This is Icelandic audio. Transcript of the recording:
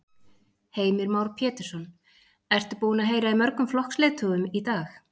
Heimir Már Pétursson: Ertu búin að heyra í mörgum flokksleiðtogum í dag?